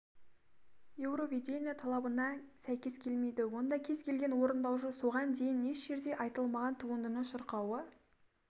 еуровидение талабына сәйкес келмейді онда кез келген орындаушы соған дейін еш жерде айтылмаған туындыны шырқауы